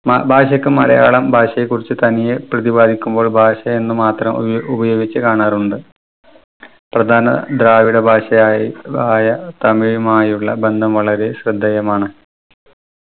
മ ഭാഷക്ക് മലയാളം ഭാഷയെക്കുറിച്ച് തനിയെ പ്രതിപാദിക്കുമ്പോൾ ഭാഷ എന്ന് മാത്രം ഉയ ഉപയോഗിച്ച് കാണാറുണ്ട്. പ്രധാന ദ്രാവിഡ ഭാഷയായി ആയ തമിഴുമായുള്ള ബന്ധം വളരെ ശ്രദ്ദേയമാണ്.